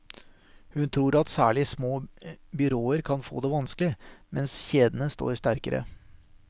Hun tror at særlig små byråer kan få det vanskelig, mens kjedene står sterkere.